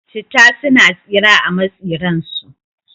Citta suna tsira a matsi ran su